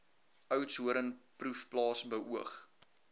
oudtshoorn proefplaas beoog